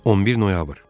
11 noyabr.